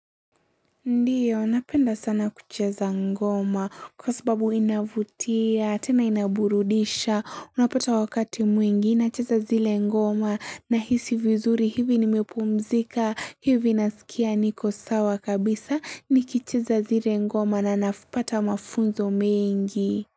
Ndiyo, napenda sana kucheza ngoma kwa sababu inavutia, tena inaburudisha, unapata wakati mwingi, nacheza zile ngoma nahisi vizuri hivi nimepumzika, hivi nasikia niko sawa kabisa, nikicheza zile ngoma na nafipata mafunzo mingi.